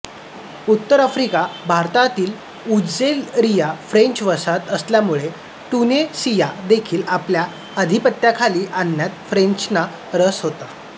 उत्तर आफ्रिका भागातील Algeria French वसाहत असल्यामुळे ट्युनिसिया देखील आपल्या अधिपत्याखाली आणण्यात फ्रेंचांना रस होता